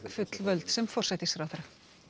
full völd sem forsætisráðherra